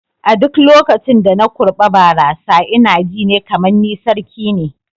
A duk lokacin da na kurɓa barasa ina ji ne kamar ni sarki ne.